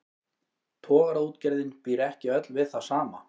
Togaraútgerðin býr ekki öll við það sama.